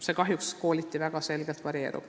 See kahjuks kooliti väga selgelt varieerub.